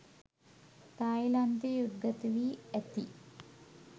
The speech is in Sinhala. තායිලන්තයේ උද්ගත වී ඇති